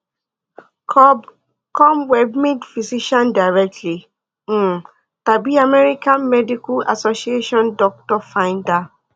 cob com webmd physician directory um tàbí american medical association doctor finder